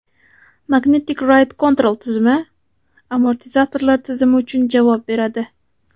Magnetic Ride Control tizimi amortizatorlar tizimi uchun javob beradi.